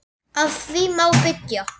Á því má byggja.